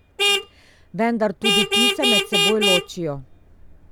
Vendar tudi ti se med seboj ločijo.